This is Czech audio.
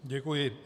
Děkuji.